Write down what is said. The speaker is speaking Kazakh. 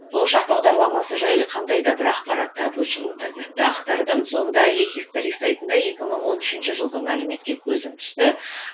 болашақ бағдарламасы жайлы қандай да бір ақпарат табу үшін интернетті ақтардым сонда сайтында екі мың он үшінші жылғы мәліметке көзім түсті